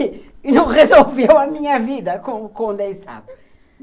E não resolveu a minha vida com o condensado.